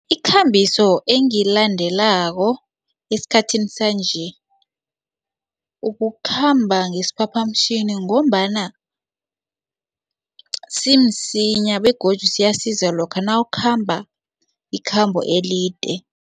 Ikambiso engiyilandelako esikhathini sanje ukukhamba ngesiphaphamtjhini ngombana simsinya begodu siyasiza lokha nawukhamba ikhambo elide.